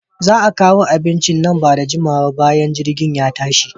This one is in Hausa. Za'a kawo abincin nan bada jimawa ba bayan jirgin ya tashi.